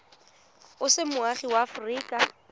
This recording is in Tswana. o se moagi wa aforika